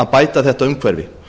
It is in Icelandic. að bæta þetta umhverfi